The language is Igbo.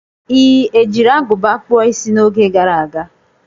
Ị ejiri agụba kpuo Ịsị n'oge gara aga?